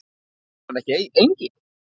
Heitir hann ekki Engill?